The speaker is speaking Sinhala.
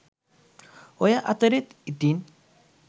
ඔය අතරත් ඉතින්